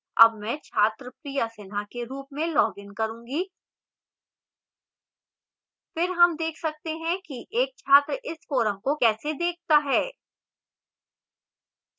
अब मैं छात्र priya sinha के रूप में login करूँगी फिर हम देख सकते हैं कि एक छात्र इस forum को कैसे देखता है